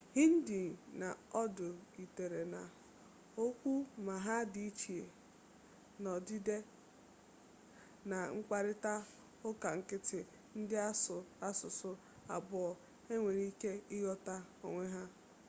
hindi na urdu yitere na okwu ma ha di iche n'odide na mkparita uka nkiti ndi asu asusu abuo a nwere ike ighota onwe ha